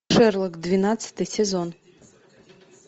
шерлок двенадцатый сезон